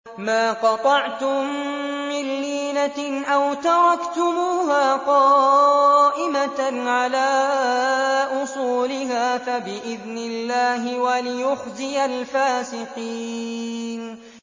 مَا قَطَعْتُم مِّن لِّينَةٍ أَوْ تَرَكْتُمُوهَا قَائِمَةً عَلَىٰ أُصُولِهَا فَبِإِذْنِ اللَّهِ وَلِيُخْزِيَ الْفَاسِقِينَ